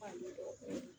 Fani dɔgɔtɔrɔ